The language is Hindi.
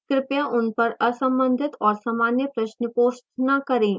कृपया उन पर असंबंधित और सामान्य प्रश्न post न करें